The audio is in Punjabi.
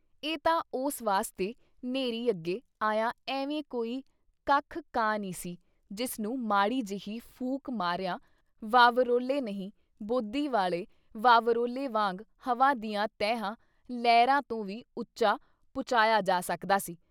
ਇਹ ਤਾਂ ਉਸ ਵਾਸਤੇ ਨ੍ਹੇਰੀ ਅੱਗੇ ਆਇਆ ਐਵੇਂ ਕੋਈ ਕੱਖ ਕਾਨ ਈ ਸੀ, ਜਿਸ ਨੂੰ ਮਾੜੀ ਜੇਹੀ ਫੂਕ ਮਾਰਿਆਂ ਵਾਵਰੋਲ਼ੇ ਨਹੀਂ ਬੋਦੀ ਵਾਲੇ ਵਾਵਰੋਲੇ ਵਾਂਗ ਹਵਾ ਦੀਆਂ ਤਹਿਆਂ, ਲਹਿਰਾਂ ਤੋਂ ਵੀ ਉੱਚਾ ਪੁਚਾਇਆ ਜਾ ਸਕਦਾ ਸੀ।